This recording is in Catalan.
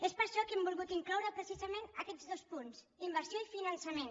és per això que hi hem volgut incloure precisament aquests dos punts inversió i finançament